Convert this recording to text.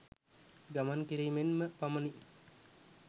ගමන් කිරීමෙන්ම පමණි.